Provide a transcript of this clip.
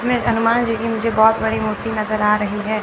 हनुमान जी की मुझे बहोत बड़ी मूर्ति नजर आ रही है।